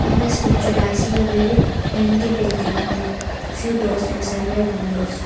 in this picture i see a very lengthy building with few doors and several windows.